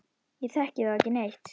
Ég þekki þá ekki neitt.